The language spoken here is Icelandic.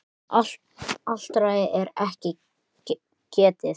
Ártals er ekki getið.